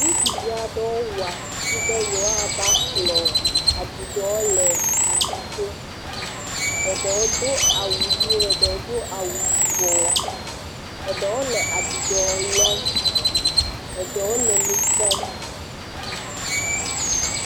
Ŋutsuvi aɖewo wɔ susu be yewoava kplɔ aɖuɖɔ le aƒuto. Eɖewo do awu ʋi, eɖewo do awu yibɔ. Eɖewo le aɖuɖɔ lɔm eɖewo le nu kpɔm.